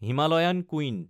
Himalayan queen